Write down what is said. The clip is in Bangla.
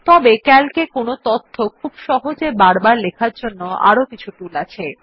তবে ক্যালক এ কোনো তথ্য খুব সহজে বারবার লেখার জন্য আরো কিছু টুল আছে